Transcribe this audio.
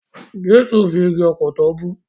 Jẹ́sù fi igi ọ̀pọ̀tọ́ bú.